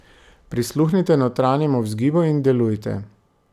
Prisluhnite notranjemu vzgibu in delujte.